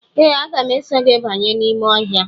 Ee, aga m eso gị banye n’ime ọhịa.